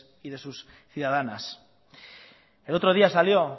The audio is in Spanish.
y de sus ciudadanas el otro día salió